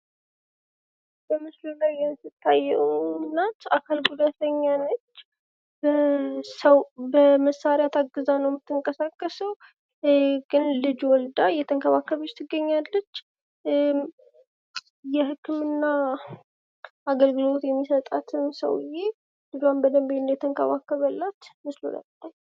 ማህበረሰብ የጋራ እሴቶችና ግቦች ያላቸው የሰዎች ስብስብ ሲሆን ቤተሰብ ደግሞ የቅርብ ዝምድና ያላቸውና አብረው የሚኖሩ ሰዎች ናቸው።